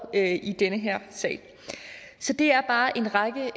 i den her sag så det er bare en række